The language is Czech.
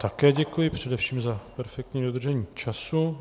Také děkuji, především za perfektní dodržení času.